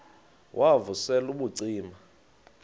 wav usel ubucima